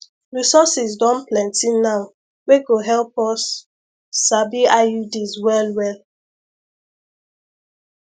resources don plenty now wey go help us sabi iuds well well